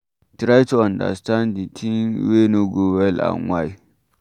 Try to understans di thing wey no go well and why